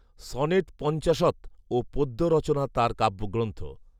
‘sonnet পঞ্চাশৎ’ ও পদ্য রচনা তাঁর কাব্যগ্রন্থ